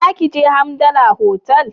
Za ki je Hamdala otal?